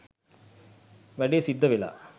වැඩේ සිද්ධ වෙලා